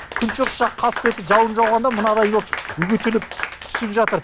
күншығыс жақ қасбеті жауын жауғанда мынадай боп үгітіліп түсіп жатыр